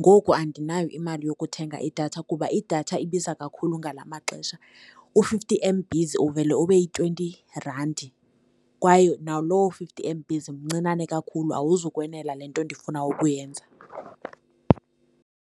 Ngoku andinayo imali yokuthenga idatha kuba idatha ibiza kakhulu ngala maxesha. U-fifty M_Bs uvele ube yi-twenty randi kwaye naloo fifty M_B mncinane kakhulu, awuzukwenela le nto ndifuna ukuyenza.